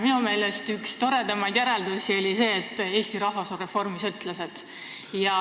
Minu meelest oli üks toredamaid järeldusi see, et Eesti rahvas on reformisõltlased.